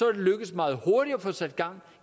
er lykkedes meget hurtigt at få sat gang